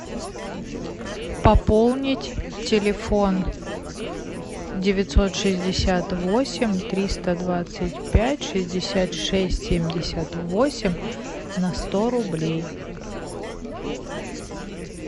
пополнить телефон девятьсот шестьдесят восемь триста двадцать пять шестьдесят шесть семьдесят восемь на сто рублей